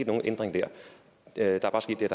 nogen ændring dér der er bare sket det